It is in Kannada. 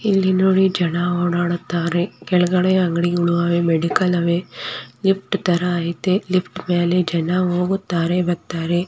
ಇಲ್ಲಿ ನೋಡಿ ಜನ ಓಡಾಡುತ್ತಾರೆ ಕೆಳಗಡೆ ಅಂಗಡಿಗಳು ಅವೆ ಮೆಡಿಕಲ್ ಅವೆ ಲಿಫ್ಟ್ ತರ ಅಯ್ತೆ ಲಿಫ್ಟ್ ಮೇಲೆ ಜನ ಹೋಗುತ್ತಾರೆ ಬರ್ತಾರೆ.